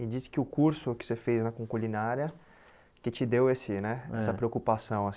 E disse que o curso que você fez na culinária que te deu esse né é essa preocupação.